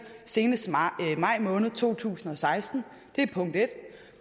senest maj måned to tusind og seksten og